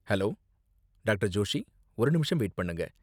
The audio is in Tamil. Hello, doctor. ஜோஷி. ஒரு நிமிஷம் வெயிட் பண்ணுங்க.